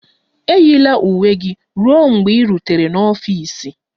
Eyila uwe gị ruo mgbe ị rutere n'ọfịs!